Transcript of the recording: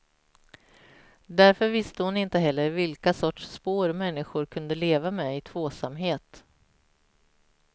Därför visste hon inte heller vilka sorts spår människor kunde leva med i tvåsamhet.